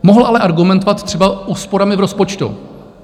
Mohl ale argumentovat třeba úsporami v rozpočtu.